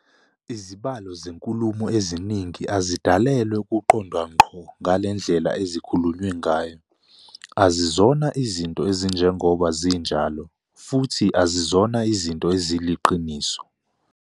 Izibalo zenkulumo eziningi azidalelwe ukuqondwa ngqo ngalendlela ezikhulunywe ngayo- azizona izinto ezinjengoba zinjalo, futhi azizona izinto eziliqiniso.